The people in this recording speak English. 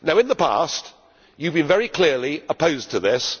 In the past you have been very clearly opposed to this.